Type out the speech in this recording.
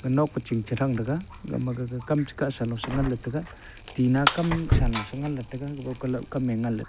enok eching che thang tega ga ma gaga kam tina kam shalo ngan tega.